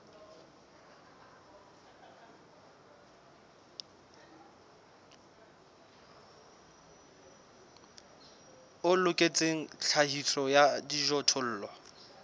o loketseng tlhahiso ya dijothollo